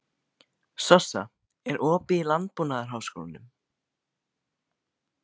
Sossa, er opið í Landbúnaðarháskólanum?